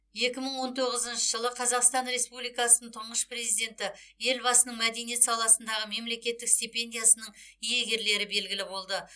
екі мың он тоғызыншы жылы қазақстан республикасының тұңғыш президенті елбасының мәдениет саласындағы мемлекеттік стипендиясының иегерлері белгілі болды